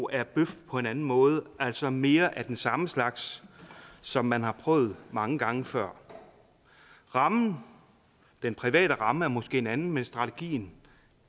er bøf på en anden måde altså mere af den samme slags som man har prøvet mange gange før rammen den private ramme er måske en anden men strategien